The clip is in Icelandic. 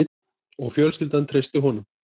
Og fjölskyldan treysti honum